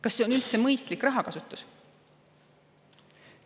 Kas see on üldse mõistlik rahakasutus?